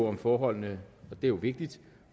om forholdene og det er jo vigtigt